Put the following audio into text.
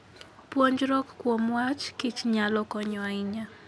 Puonjruok kuom wach kichnyalo konyo ahinya.